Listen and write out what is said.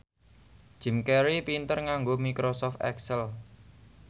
Jim Carey pinter nganggo microsoft excel